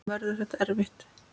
Verður þetta erfitt?